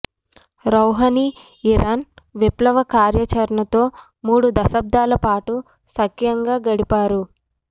Rouhani Iran విప్లవ కార్యాచర ణతో మూడు దశాబ్దాలపాటు సఖ్యంగా గడిపా రు